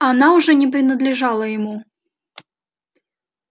она уже не принадлежала ему